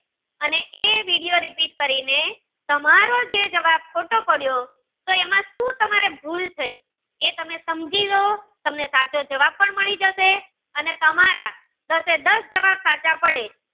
અને એ vediorepeat કરીને તમારો જે જવાબ ખોટો પડ્યો તો તમારે સુ એમાં ભૂલ થઈ એ તમે સમજી લ્યો તમને સાચો જવાબ પણ મળી જશે અને તમારા દાસે દસ જવાબ સાચા પડે